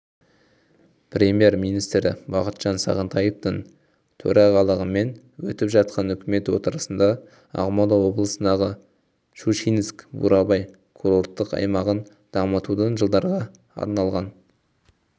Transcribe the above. премьер-министрі бақытжан сағынтаевтың төрағалығымен өтіп жатқан үкімет отырысында ақмола облысындағы щучинск-бурабай курорттық аймағын дамытудың жылдарға арналған